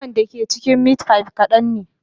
Naman da ke cikin meat pie kadan ne